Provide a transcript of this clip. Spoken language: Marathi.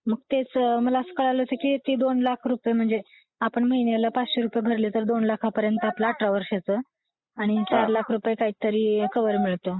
नुकतेच मला असं कळलं होतं की दोन लाख रुपये आपण महिन्याला पाच लाख रुपये भरले तर दोन लाखापर्यंत आपलं अठरा वर्षांचं आणि चार लाख रुपये काहीतरी कव्हर मिळतं